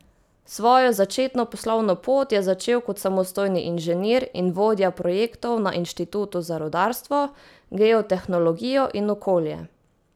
Svojo začetno poslovno pot je začel kot samostojni inženir in vodja projektov na Inštitutu za rudarstvo, geotehnologijo in okolje.